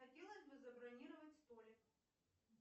хотелось бы забронировать столик